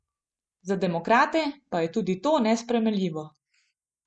Za demokrate pa je tudi to nesprejemljivo.